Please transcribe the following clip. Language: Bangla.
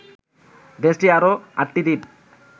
দেশটির আরো আটটি দ্বীপ